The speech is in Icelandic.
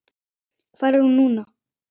Hvar er hún núna?